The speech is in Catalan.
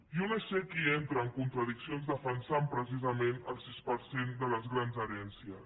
jo no sé qui entra en contradiccions defensant precisament el sis per cent de les grans herències